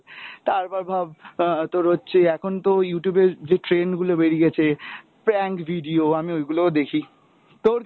তারপর ভাব আহ তোর হচ্ছে এখন তো Youtube এ যে trend গুলো বেরিয়েছে prank video আমি ওই গুলোও দেখি, তোর